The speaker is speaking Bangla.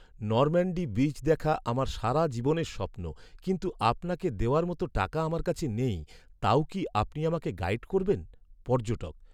নরম্যাণ্ডি বীচ দেখা আমার সারাজীবনের স্বপ্ন, কিন্তু আপনাকে দেওয়ার মতো টাকা আমার কাছে নেই, তাও কি আপনি আমাকে গাইড করবেন? পর্যটক